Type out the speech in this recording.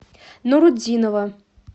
нурутдинова